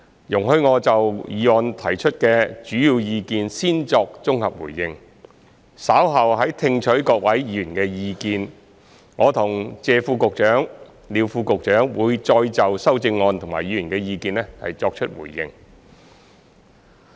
容許我就議案提出的主要意見先作綜合回應，稍後在聽取各位議員的意見後，我和謝副局長及廖副局長會再就修正案和議員的意見作出回應。